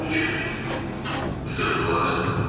"Mən heç nə düşünmürəm," - deyə ah çəkdi.